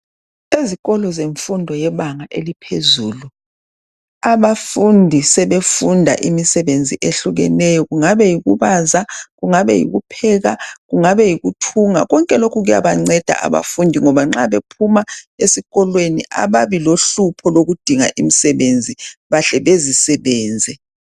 Ezikolo zemfundo yebanga eliphezulu abafundi sebefunda imisebenzi ehlukeneyo . Kungabe yiku baza, ukupheka kumbe ukuthunga. Konke lokhu kuyabanceda abafundi ngoba nxa bephuma esikolweni ababi lohlupho lokudinga imsebenzi bahle bezisebenze .